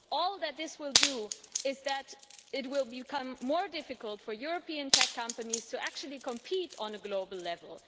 All that this will do is make it more difficult for European tech companies to actually compete on a global level.